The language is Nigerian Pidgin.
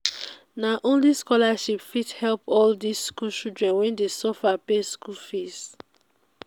na only scholarship fit help all dis skool children wey dey suffer pay school fees.